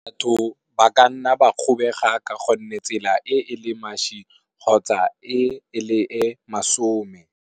Batho ba ka nna ba kgobega ka go nne tsela e e le mašwi kgotsa e le e masome.